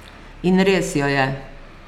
In res jo je!